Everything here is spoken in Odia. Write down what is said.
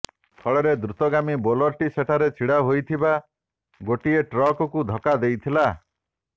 ଫଳରେ ଦ୍ରୁତଗାମୀ ବୋଲେରୋଟି ସେଠାରେ ଛିଡ଼ା ହୋଇଥିବା ଗୋଟିଏ ଟ୍ରକ୍କୁ ଧକ୍କା ଦେଇଥିଲା